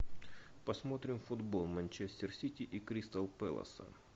посмотрим футбол манчестер сити и кристал пэласа